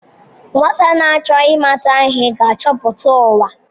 Nwata na-achọ ịmata ihe ga-achọpụta ụwa.